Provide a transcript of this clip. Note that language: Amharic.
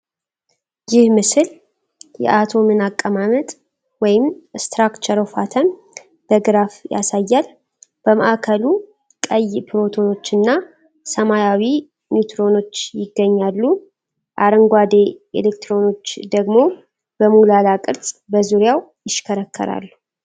ይህ ምስል የአቶምን አቀማመጥ (Structure of Atom) በግራፍ ያሳያል። በማዕከሉ ቀይ ፕሮቶኖችና ሰማያዊ ኒውትሮኖች ይገኛሉ፤ አረንጓዴ ኤሌክትሮኖች ደግሞ በሞላላ ቅርጽ በዙሪያው ይሽከረከራሉ።